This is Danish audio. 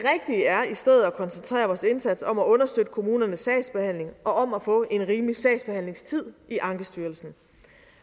i stedet at koncentrere vores indsats om at understøtte kommunernes sagsbehandling og om at få en rimelig sagsbehandlingstid i ankestyrelsen